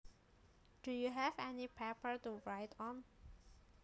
Do you have any paper to write on